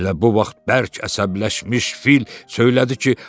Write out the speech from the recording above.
Elə bu vaxt bərk əsəbləşmiş fil söylədi ki,